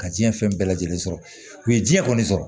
Ka diɲɛ fɛn bɛɛ lajɛlen sɔrɔ u ye diɲɛ kɔni sɔrɔ